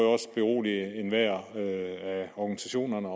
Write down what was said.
også berolige alle organisationerne